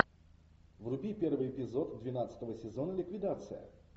вруби первый эпизод двенадцатого сезона ликвидация